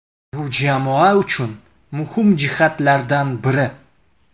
Bu jamoa uchun muhim jihatlardan biri.